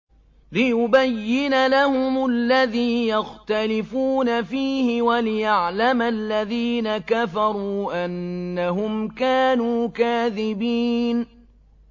لِيُبَيِّنَ لَهُمُ الَّذِي يَخْتَلِفُونَ فِيهِ وَلِيَعْلَمَ الَّذِينَ كَفَرُوا أَنَّهُمْ كَانُوا كَاذِبِينَ